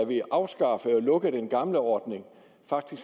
vi afskaffede og lukkede den gamle ordning